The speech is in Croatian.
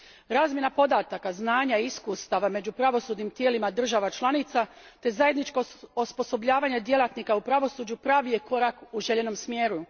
Razmjena podataka, znanja i iskustava među pravosudnim tijelima država članica te zajedničko osposobljavanje djelatnika u pravosuđu pravi je korak u željenom smjeru.